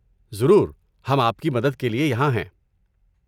ضرور، ہم آپ کی مدد کے لیے یہاں ہیں۔